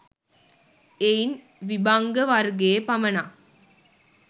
එයින් විභංග වර්ගයේ පමණක්